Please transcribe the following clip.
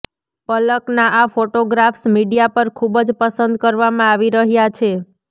પલકના આ photographs media પર ખૂબ જ પસંદ કરવામાં આવી રહ્યા છે